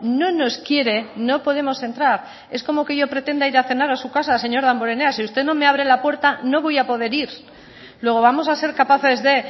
no nos quiere no podemos entrar es como que yo pretenda ir a cenar a su casa señor damborenea si usted no me abre la puerta no voy a poder ir luego vamos a ser capaces de